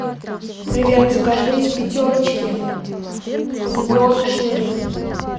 привет закажи из пятерочки помидоры черри